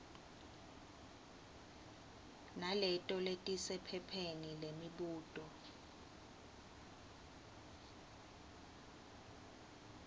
naleto letisephepheni lemibuto